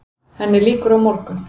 Henni lýkur á morgun.